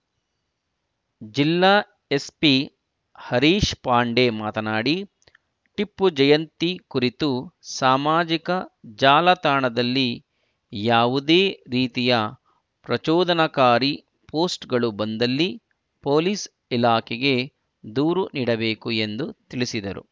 ಜಿಲ್ಲಾ ಎಸ್ಪಿ ಹರೀಶ್‌ ಪಾಂಡೆ ಮಾತನಾಡಿ ಟಿಪ್ಪು ಜಯಂತಿ ಕುರಿತು ಸಾಮಾಜಿಕ ಜಾಲತಾಣದಲ್ಲಿ ಯಾವುದೇ ರೀತಿಯ ಪ್ರಚೋದನಕಾರಿ ಪೋಸ್ಟ್‌ಗಳು ಬಂದಲ್ಲಿ ಪೊಲೀಸ್‌ ಇಲಾಖೆಗೆ ದೂರು ನೀಡಬೇಕು ಎಂದು ತಿಳಿಸಿದರು